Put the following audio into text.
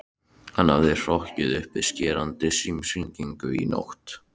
Hann hafði hrokkið upp við skerandi símhringingu nótt